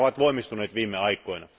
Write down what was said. Nehän ovat voimistuneet viime aikoina.